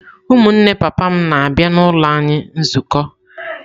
Ụmụnne papa m na-abịa n’ụlọ anyị nzukọ.